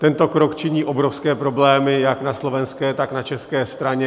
Tento krok činí obrovské problémy jak na slovenské, tak na české straně.